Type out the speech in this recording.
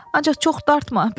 Ancaq çox dartma.